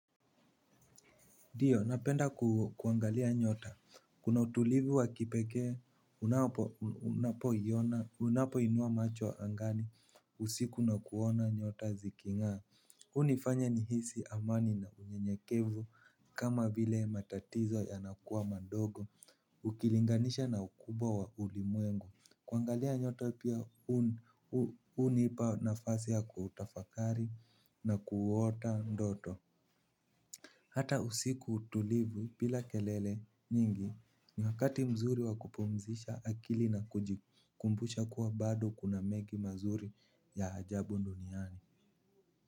Ndiyo, napenda kuangalia nyota. Kuna utulivu wa kipekee, unapo inua macho angani, usiku na kuona nyota ziking'a. Hunifanya ni hisi amani na unye nyekevu, kama vile matatizo ya nakuwa mandogo, ukilinganisha na ukubwa wa ulimwengu. Kuangalia nyota pia, hunipa nafasiya kutafakari na kuota ndoto. Hata usiku tulivu bila kelele nyingi ni wakati mzuri wakupumzisha akili na kujikumbusha kuwa bado kuna mengi mazuri ya ajabu duniani.